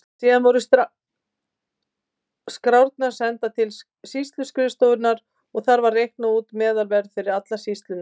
Síðan voru skrárnar sendar til sýsluskrifstofunnar og þar var reiknað út meðalverð fyrir alla sýsluna.